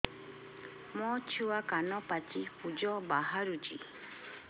ମୋ ଛୁଆ କାନ ପାଚି ପୂଜ ବାହାରୁଚି